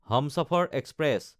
Humsafar express